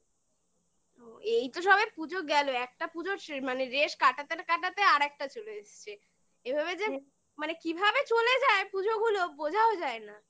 ওহ্ এই তো সবাই পুজো গেলো একটা পুজোর মানে রেশ কাটাতার কাটাতে আর একটা চলে এসছে এভাবে যে মানে কিভাবে চলে যায় পুজো গুলো বোঝাও যায় না